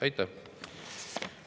Aitäh!